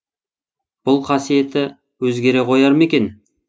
бұл қасиеті өзгере қояр ма екен